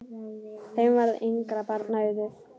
Þeim varð engra barna auðið.